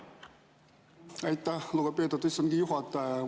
Aitäh, lugupeetud istungi juhataja!